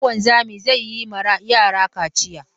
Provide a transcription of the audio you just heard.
Habu wanzami zai yi ma yara kaciya